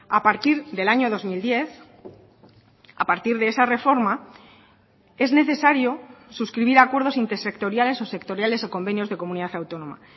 a partir del año dos mil diez a partir de esa reforma es necesario suscribir acuerdos intersectoriales o sectoriales o convenios de comunidad autónoma